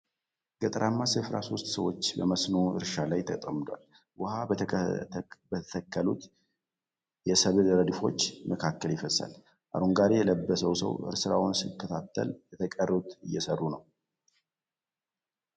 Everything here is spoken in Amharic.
ገጠራማ ስፍራ ሦስት ሰዎች በመስኖ እርሻ ላይ ተጠምደዋል። ውሃ በተተከሉት የሰብል ረድፎች መካከል ይፈሳል። አረንጓዴ የለበሰው ሰው ስራውን ሲከታተል የተቀሩት እየሰሩ ነው።